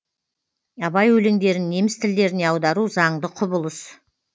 абай өлеңдерін неміс тілдеріне аудару заңды құбылыс